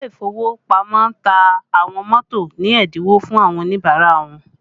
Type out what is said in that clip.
Ile ìfowópamọ́ ta àwọn mọ́tò ní ẹ́dínwó fún àwọn Oníbàárà wọn